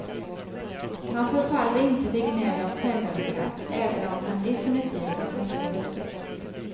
Han förfaller inte till gnäll och självömkan även om han definitivt haft en svår uppväxt.